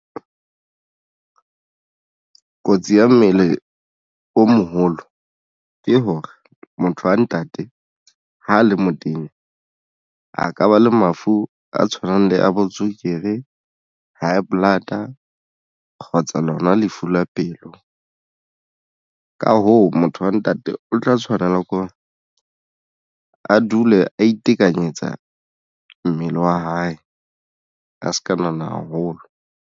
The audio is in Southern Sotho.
Kotsi ya mmele o moholo ke hore motho wa ntate ha a le motenya a ka ba le mafu a tshwanang le bo tswekere, high blood, A kgotsa lona lefu la pelo. Ka hoo, motho wa ntate o tla tshwanela ko a dule a itekanyetsa mmele wa hae a se ka nona haholo.